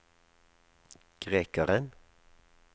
grekeren